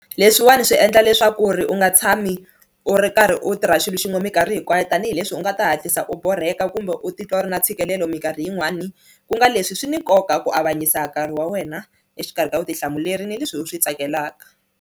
Leswiwani swi endla leswaku ri u nga tshami u ri karhi u tirha xilo xin'we minkarhi hinkwayo tanihileswi u nga ta hatlisa u borheka kumbe u titwa u ri na ntshikelelo minkarhi yin'wani ku nga leswi swi ni nkoka ku avanyisa nkarhi wa wena exikarhi ka vutihlamuleri ni leswi u swi tsakelaka.